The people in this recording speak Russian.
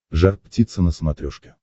жар птица на смотрешке